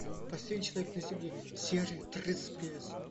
последний человек на земле серия тридцать пять